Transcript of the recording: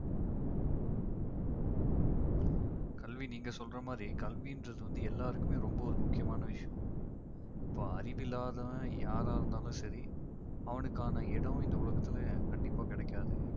கல்வி நீங்க சொல்ற மாதிரி கல்வின்றது வந்து எல்லாருக்குமே ரொம்ப ஒரு முக்கியமான விஷயம் இப்ப அறிவில்லாதவன் யாரா இருந்தாலும் சரி அவனுக்கான இடம் இந்த உலகத்தில கண்டிப்பா கிடைக்காது